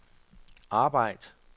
arbejd